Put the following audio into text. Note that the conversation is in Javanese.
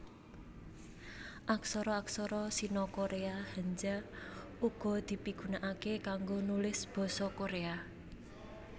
Aksara aksara Sino Koréa Hanja uga dipigunakaké kanggo nulis basa Koréa